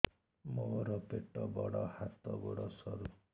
ମୋର ପେଟ ବଡ ହାତ ଗୋଡ ସରୁ